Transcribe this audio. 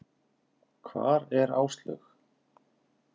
Hvar er Áslaug?